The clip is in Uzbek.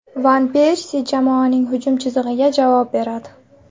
Van Persi jamoaning hujum chizig‘iga javob beradi.